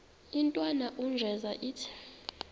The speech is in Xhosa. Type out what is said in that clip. intwana unjeza ithi